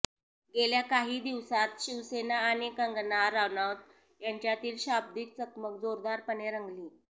गेल्या काही दिवसांत शिवसेना आणि कंगना रानौत यांच्यातील शाब्दिक चकमक जोरदारपणे रंगली